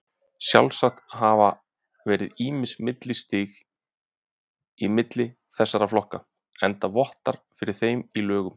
Sjálfsagt hafa verið ýmis millistig í milli þessara flokka, enda vottar fyrir þeim í lögum.